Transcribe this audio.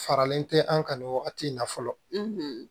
Faralen tɛ an ka nin wagati in na fɔlɔ